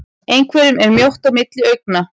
Einhverjum er mjótt á milli augna